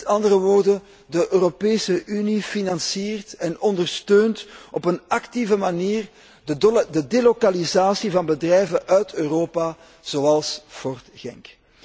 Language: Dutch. Met andere woorden, de Europese Unie financiert en ondersteunt op een actieve manier de delokalisatie van bedrijven uit Europa, zoals Ford Genk.